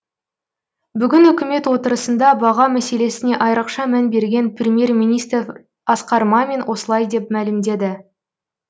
бүгін үкімет отырысында баға мәселесіне айрықша мән берген премьер министр асқар мамин осылай деп мәлімдеді